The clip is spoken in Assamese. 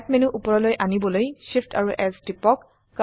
স্ন্যাপ মেনু উপৰলৈ আনিবলৈ Shift এএমপি S টিপক